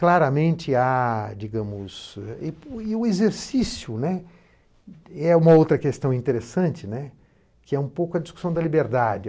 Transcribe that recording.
Claramente há, digamos, e e o exercício, né, é uma outra questão interessante, né, que é um pouco a discussão da liberdade.